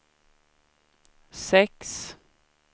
sex